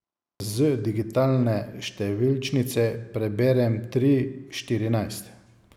Z digitalne številčnice preberem tri štirinajst.